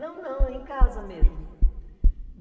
em casa? Não, não, em casa mesmo.